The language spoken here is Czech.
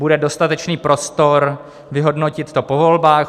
Bude dostatečný prostor vyhodnotit to po volbách.